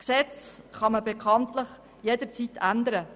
Gesetze kann man bekanntlich jederzeit ändern.